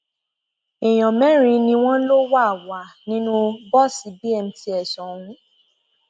èèyàn mẹrin ni wọn lọ wà wà nínú bọọsì bmts ọhún